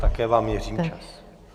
Také vám měřím čas.